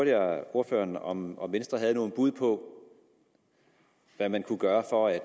ordføreren om om venstre havde nogle bud på hvad man kunne gøre for at